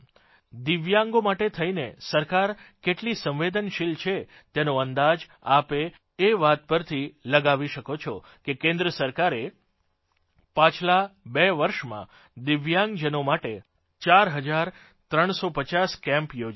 દિવ્યાંગો માટે થઇને સરકાર કેટલી સંવેદનશીલ છે તેનો અંદાજ આપ એ વાત પરથી લગાવી શકો છો કે કેન્દ્ર સરકારે પાછલાં બે વર્ષમાં દિવ્યાંગજનો માટે ચાર હજાર ત્રણસો પચાસ કેમ્પ યોજયા છે